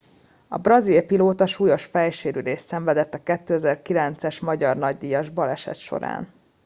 a brazil pilóta súlyos fejsérülést szenvedett a 2009 es magyar nagydíjas baleset során